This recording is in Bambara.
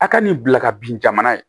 A ka n'i bila ka bin jamana ye